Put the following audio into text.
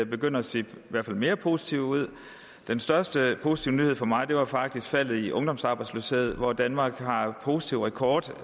begynder at se mere positive ud den største positive nyhed for mig var faktisk faldet i ungdomsarbejdsløsheden hvor danmark har en positiv rekord